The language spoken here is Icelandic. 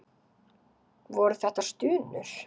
Voru þetta stunur?